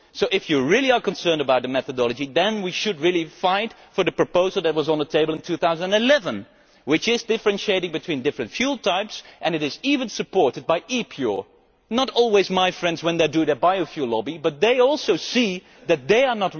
So if you really are concerned about the methodology then we should really fight for the proposal that was on the table in 2011 which does differentiate between different fuel types and which is even supported by ePure not always my friends when they do their biofuel lobbying, but they also see that they